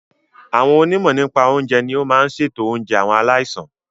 Àwọn onímọ̀ nípa oúnjẹ ní o máa n ṣètò oúnjẹ àwọn aláìsàn.